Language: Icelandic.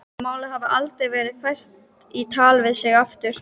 Málið hafi aldrei verið fært í tal við sig aftur.